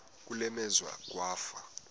kule meazwe kwafa